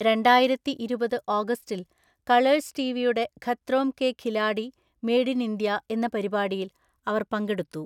രണ്ടായിരത്തിഇരുപത് ഓഗസ്റ്റിൽ, കളേഴ്‌സ് ടിവിയുടെ Khatron Ke Khiladi made in India എന്ന പരിപാടിയിൽ അവർ പങ്കെടുത്തു.